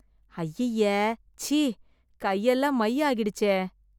ஐயைய.. ச்சீ.. கையெல்லாம் மை ஆகிடுச்சே!